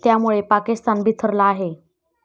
त्यामुळे पाकिस्तान बिथरला आहे.